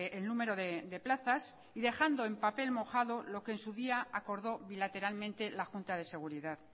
el número de plazas y dejando en papel mojado lo que en su día acordó bilateralmente la junta de seguridad